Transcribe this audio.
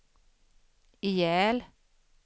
ihjäl